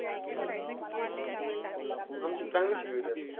आमची चांगलंच शिकवित्यात.